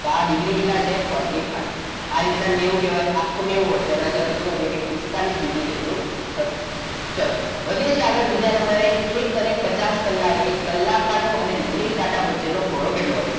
તો આ ડીગ્રી કેટલા છે fourty five. આ રીતના ને એવું કહેવાય આખું નેવું હોય આખો નેવું હોય તો તેનાથી અડધું એટલે કે પિસ્તાળીસ ડિગ્રી જેટલો થશે ચલો વધે છે આગળ બીજા નંબરે એક અને પચાસ કલાક કાંટો અને મિનિટ કાંટો વચ્ચેનો ખૂણો કેટલો હશે